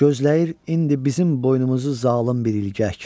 Gözləyir indi bizim boynumuzu zalım bir ilgək.